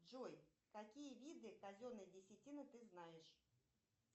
джой какие виды казенной десятины ты знаешь